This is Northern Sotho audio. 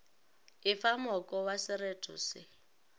efa moko wa sereto se